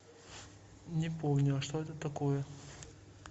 не помню а что это такое